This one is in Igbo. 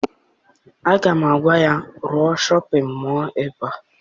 Aga m agwa ya, rụọ shọpịn mọọ ebea!